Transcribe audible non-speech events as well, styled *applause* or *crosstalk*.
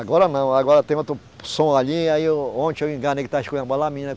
Agora não, agora tem outro som ali, aí eu, ontem eu enganei que estava *unintelligible* a menina